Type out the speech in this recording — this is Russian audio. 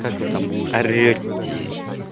как вы там орете